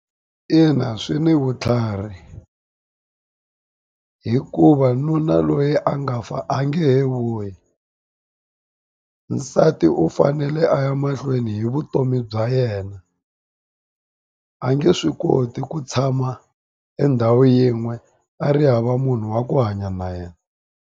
Ina swi ni vutlhari hikuva nuna loyi a nga fa a nge he vuyi nsati u fanele a ya mahlweni hi vutomi bya yena a nge swi koti ku tshama endhawu yin'we a ri hava munhu wa ku hanya na yena.